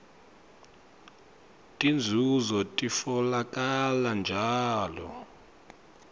tinzunzo titfolakala njalo